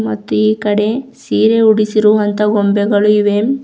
ಮತ್ತು ಈ ಕಡೆ ಸೀರೆ ಉಡಿಸಿರುವಂಥ ಗೊಂಬೆಗಳು ಇವೆ.